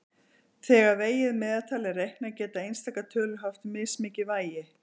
Þegar vegið meðaltal er reiknað geta einstakar tölur haft mismikið vægi.